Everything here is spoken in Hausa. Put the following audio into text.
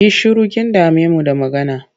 Yi shiru! Kin dame mu da magana.